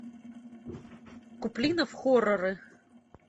куплинов хорроры